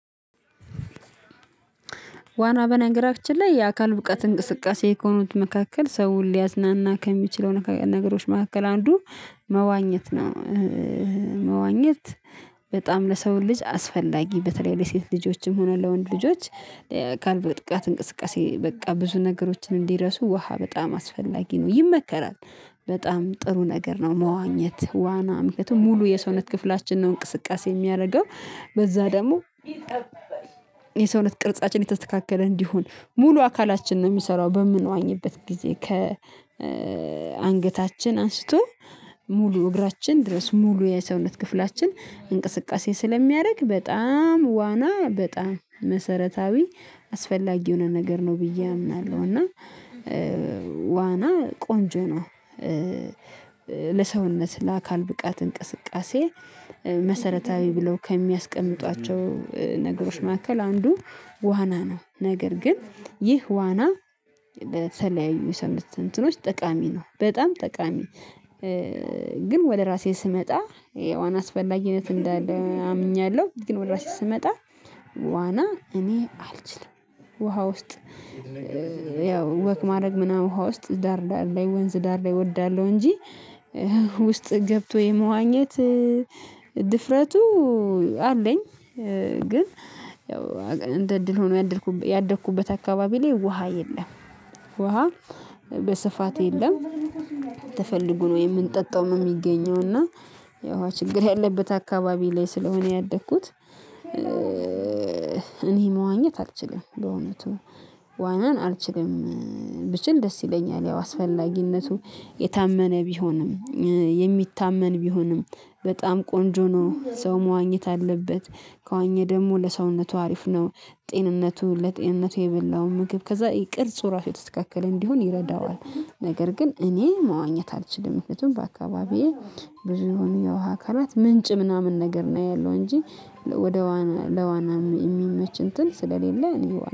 ዋና በነገራችን ላይ የአካል ብቃት እንቅስቃሴ ከሆኑት መካከል ሰው ሊያዝናና ከሚችለው ነገሮች መካከል አንዱ መዋኘት ነው። መዋኘት በጣም ለሰው ልጅ አስፈላጊ በተለይ ለሴት ልጆችም ሆነ ለወንድ ልጆች አካል ብቃት እንቅስቃሴ በቃ ብዙ ነገሮችን እንዲረሱ ውሃ በጣም አስፈላጊ ነው ይመከራል። በጣም ጥሩ ነገር ነው መዋኘት ዋና ምክንያቱም ሙሉ የሰውነት ክፍላችን ነው እንቅስቃሴ የሚያደርገው። በዛ ደግሞ የሰውነት ቅርጻችን የተስተካከለ እንዲሆን ሙሉ አካላችን ነው የሚሰራው በምንዋኝበት ጊዜ ከ አንገታችን አንስቶ ሙሉ እግራችን ድረስ ሙሉ የሰውነት ክፍላችን እንቅስቃሴ ስለሚያደርግ በጣም ዋና በጣም መሰረታዊ አስፈላጊ የሆነ ነገር ነው ብዬ አምናለሁ እና ዋና ቆንጆ ነው። ለሰውነት ለአካል ብቃት እንቅስቃሴ መሰረታዊ ብለው ከሚያስቀምጧቸው ነገሮች መካከል አንዱ ዋና ነው ነገር ግን ይህ ዋና ለተለያዩ የሰውነት ጠቃሚ ነው በጣም ጠቃሚ። ግን ወደ ራሴ ስመጣ የዋና አስፈላጊነት እንዳለ አምኛለሁ ግን ወደ ራሴ ስመጣ ዋና እኔ አልችልም። ውሃ ውስጥ ያው ወክ ማድረግ ምናምን ውሃ ውስጥ ዳር ላይ ወንዝ ዳር ላይ እወዳለሁ እንጂ ውስጥ ገብቶ የመዋኘት ድፍረቱ አለኝ። ግን ያው እንደ እድል ሆኖ ያደግኩበት አካባቢ ላይ ውሃ የለም። ውሃ በስፋት የለም። ተፈልጎ ነው የምንጠጣውም የሚገኘው እና የውሃ ችግር ያለበት አካባቢ ላይ ስለሆነ ያደግኩት። እኔ መዋኘት አልችልም በእውነቱ ዋናን አልችልም። ብችል ደስ ይለኛል ያው አስፈላጊነቱ የታመነ ቢሆንም የሚታመን ቢሆንም በጣም ቆንጆ ነው ሰው መዋኘት አለበት ከዋኘ ደግሞ ለሰውነቱ አሪፍ ነው። ጤንነቱ ለጤንነቱ የበላው ምግብ ከዛ ውርፁ ራሱ የተስተካከለ እንዲሆን ይረዳዋል። ነገር ግን እኔ መዋኘት አልችልም ምክንያቱም በአካባቢዬ ብዙ የሆነ የውሃ አካላት ምንጭ ምናምን ነገር ነው ያለው እንጂ ወደ ለዋና የሚመች እንትን ስለሌለ እኔ